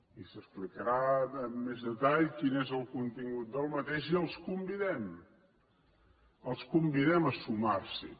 i s’explicarà amb més detall quin és el contingut d’aquest bo i els convidem els convidem a sumar s’hi